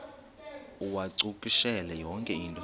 uwacakushele yonke into